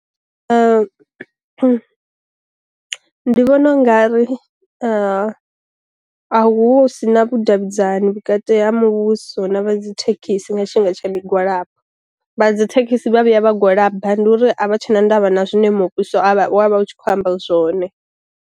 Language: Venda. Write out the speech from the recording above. Ndi vhona u nga ri a hu si na vhu davhidzani vhukati ha muvhuso na vha dzi thekhisi nga tshifhinga tsha migwalabo, vha dzi thekhisi vha vhuya vha gwalaba ndi uri a vha tshe na ndavha na zwiṋe muvhuso wa vha u tshi kho amba zwone.